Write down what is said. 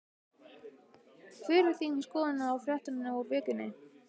Hver er þín skoðun á fréttunum úr Víkinni?